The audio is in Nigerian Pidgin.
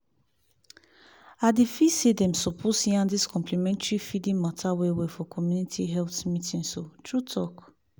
i dey feel say dem suppose yarn dis complementary feeding mata well-well for community health meetings o true-talk.